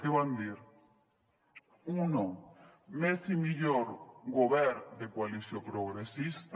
què van dir u més i millor govern de coalició progressista